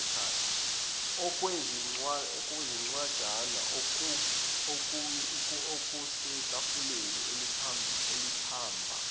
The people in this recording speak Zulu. okwezincwajana okwakusetafuleni elaliphambi